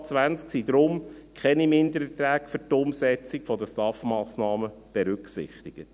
Im VA 2020 sind deshalb keine Mindererträge für die Umsetzung der STAF-Massnahmen berücksichtigt.